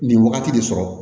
Nin wagati de sɔrɔ